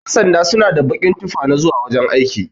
Ƴan sanda suna da bakin tufa na zauwa wajan aiki.